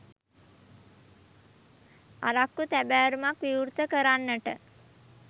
අරක්කු තැබෑරුමක් විවෘත කරන්නට